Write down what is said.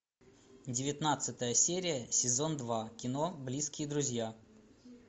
девятнадцатая серия сезон два кино близкие друзья